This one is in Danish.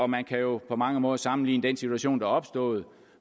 man kan jo på mange måder sammenligne den situation der er opstået